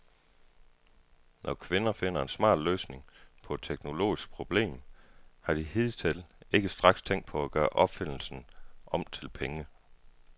Når kvinder finder en smart løsning på et teknologisk problem, har de hidtil ikke straks tænkt på at gøre opfindelsen om til penge.